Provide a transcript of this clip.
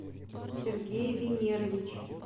сергей венерович